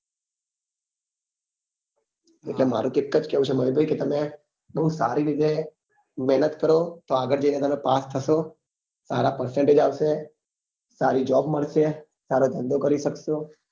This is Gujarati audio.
એટલે મારું એક જ કેવું છે મહીં ભાઈ કે તમે બઉ સારી જગ્યા એ મહેનત કરો તો આગળ જઈ ને તમે પાસ થાસો સારા percentage આવશે સારી job મળશે સારો ધંધો કરી સક્સો